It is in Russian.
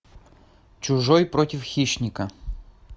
чужой против хищника